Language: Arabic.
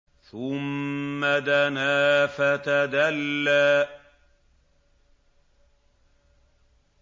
ثُمَّ دَنَا فَتَدَلَّىٰ